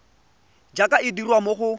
jaaka e dirwa mo go